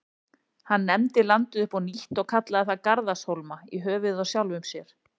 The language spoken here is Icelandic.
Hann nefndi landið upp á nýtt og kallaði það Garðarshólma, í höfuðið á sjálfum sér.